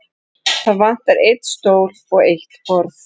Það vantar einn stól og eitt borð.